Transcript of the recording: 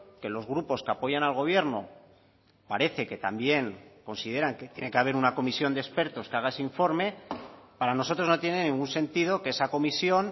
que los grupos que apoyan al gobierno parece que también consideran que tiene que haber una comisión de expertos que haga ese informe para nosotros no tiene ningún sentido que esa comisión